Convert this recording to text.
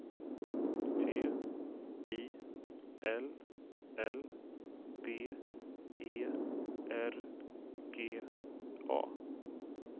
T I L L B E R G A